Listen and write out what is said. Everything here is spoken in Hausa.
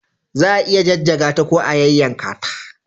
Za a iya jajjaga ta ko kuma a yayyanka ta.